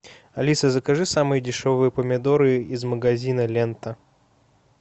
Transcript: алиса закажи самые дешевые помидоры из магазина лента